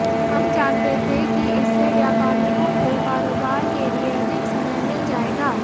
हम जानते थे कि इससे व्यापारियों को कारोबार के लिए अधिक समय मिल जाएगा